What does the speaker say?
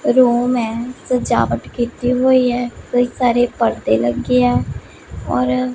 room ਐ ਸਜਾਵਟ ਕੀਤੀ ਹੋਈ ਐ ਬਹੁਤ ਸਾਰੇ ਪਰਦੇ ਲੱਗੇ ਐ ਔਰ--